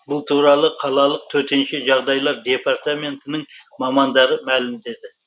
бұл туралы қалалық төтенше жағдайлар департаментінің мамандары мәлімдеді